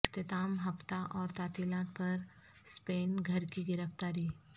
اختتام ہفتہ اور تعطیلات پر سپین گھر کی گرفتاری